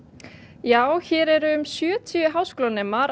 já hér eru um sjötíu háskólanemar